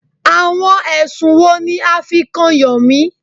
Àwọn ẹ̀sùn wo ní a fí kàn Yomi?